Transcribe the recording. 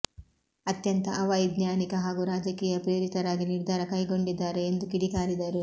ಅತ್ಯಂತ ಅವೈಜ್ಞಾನಿಕ ಹಾಗೂ ರಾಜಕೀಯ ಪ್ರೇರಿತರಾಗಿ ನಿರ್ಧಾರ ಕೈಗೊಂಡಿದ್ದಾರೆ ಎಂದು ಕಿಡಿಕಾರಿದರು